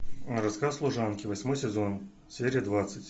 рассказ служанки восьмой сезон серия двадцать